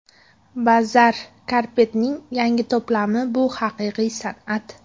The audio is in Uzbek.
Bazaar Carpet’ning yangi to‘plami bu haqiqiy san’at.